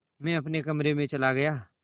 मैं अपने कमरे में चला गया